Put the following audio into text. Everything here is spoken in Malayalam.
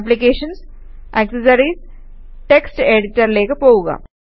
ആപ്ലിക്കേഷൻസ്gt ആക്സസറീസ് ജിടി ടെക്സ്റ്റ് എഡിറ്ററിലേക്ക് പോകുക